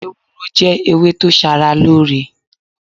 Ewúró jẹ́ ewé tó ṣaralóore.